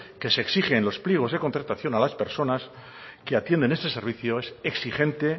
que se exige en los pliegos de contratación a las personas que atienden este servicio es exigente